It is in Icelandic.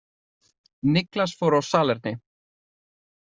Niklas fór á salerni.